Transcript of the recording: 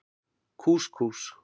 Kús Kús.